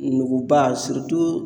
Nuguba